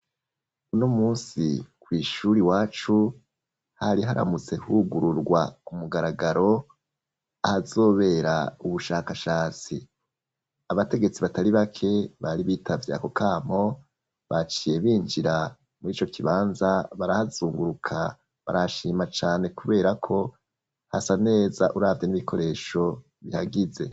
Unumunsi kw' ishuri wacu ,hari haramutse hugururwa ku mugaragaro ahazobera ubushakashatsi ,abategetsi batari bake bari bitavye akokamo, baciye binjira muri ico kibanza barazunguruka barashima cane kubera ko hasa neza, uravye n'ibikoresho bihagize.